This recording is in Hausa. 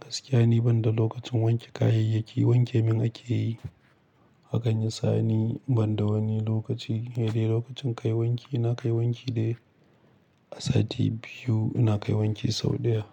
Gaskiya ni ban da lokacin wanke kayayyaki, wanke min ake yi. Hakan ya sa ni banda wani lokaci sai dai lokacin kai wanki, na kai wanki dai. A sati biyu ina kai wanki sau ɗaya.